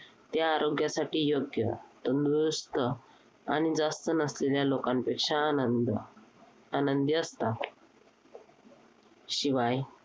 ते आरोग्यासाठी योग्य, तंदरुस्त आणि जास्त नसलेल्या लोकांपेक्षा आनंद आनंदी असतात. शिवाय